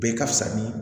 Bɛɛ ka fisa ni